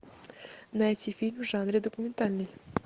найти фильм в жанре документальный